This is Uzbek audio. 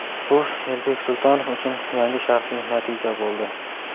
bu Elbek Sultonov uchun yangi shaxsiy natija bo‘ldi.